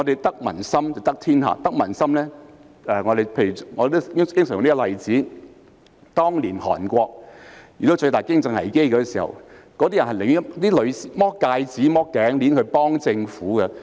得民心便得天下，我經常用的例子是當年韓國遇到最大的經濟危機，韓國市民變賣戒指和頸鏈來幫助政府。